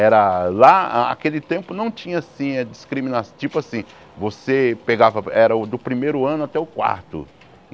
Era lá, aquele tempo não tinha assim a discrimina, tipo assim, você pegava, era o do primeiro ano até o quarto.